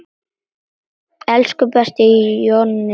Elsku besti Jonni minn.